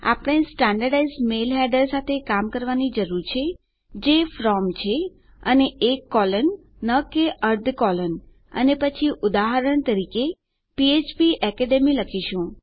આપણે standardised mail header સાથે કામ કરવાની જરૂર છે જે From છે અને એક કોલન ન કે અર્ધ કોલન અને પછી ઉદાહરણ તરીકે ફ્ફ્પ એકેડમી લખીશું